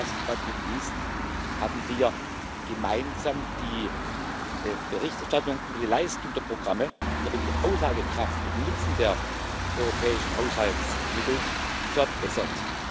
Und last, but not least haben wir gemeinsam die Berichterstattung über die Leistung der Programme und damit die Aussagekraft über den Nutzen der europäischen Haushaltsmittel verbessert.